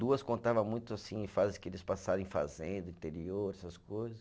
Duas contava muito, assim, fases que eles passaram em fazenda, interior, essas coisas.